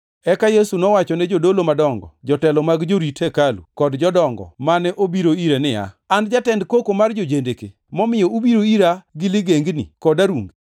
Eka Yesu nowachone jodolo madongo, jotelo mag jorit hekalu, kod jodongo, mane obiro ire, niya, “An jatend koko mar jo-jendeke, momiyo ubiro ira gi ligengni kod arunge?